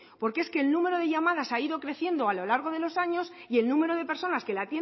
porque es que el número de llamadas ha ido creciendo a lo largo de los años y el número de personas que las